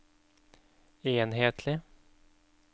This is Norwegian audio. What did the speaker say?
enhetlig